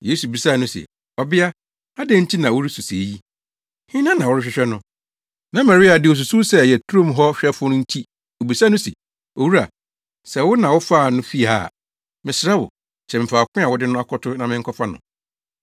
Yesu bisaa no se, “Ɔbea, adɛn nti na woresu sɛɛ yi? Hena na worehwehwɛ no?” Na Maria de, osusuw sɛ ɛyɛ turo mu hɔ hwɛfo nti obisaa no se, “Owura, sɛ wo na wofaa no fii ha a, mesrɛ wo, kyerɛ me faako a wode no akɔto na menkɔfa no.”